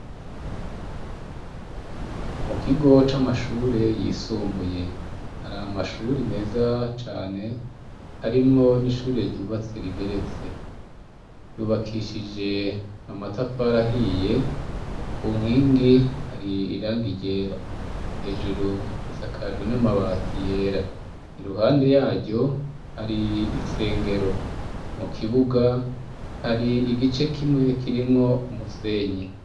Mukigo c'amashure yisumbuye hari amashure meza cane harimwo n'ishure ryubatse rigeretse, ryubakishije amatafari ahiye kunkingi hari iragi ryera, hejuru risakajwe namabati yera, iruhande yaryo har'isengero mukibuga har'igice kimwe kirimwo umusenyi.